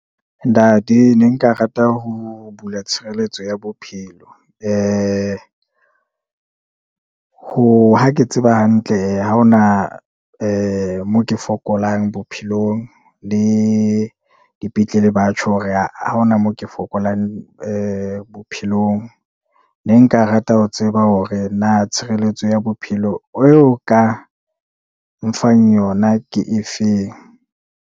Ntate ne nka rata ho bula tshireletso ya bophelo. hoha ke tseba hantle, ha ho na moo ke fokolang bophelong le dipetlele batjha, hore ha hona moo ke fokolang bophelong. Ne nka rata ho tseba hore na tshireletso ya bophelo eo o ka nfang yona ke efeng.